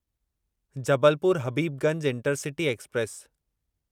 Jabalpur Habibganj intercity express